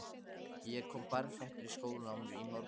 Ég kom berfættur í skólann í morgun